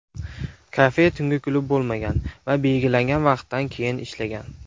Kafe tungi klub bo‘lmagan va belgilangan vaqtdan keyin ishlagan.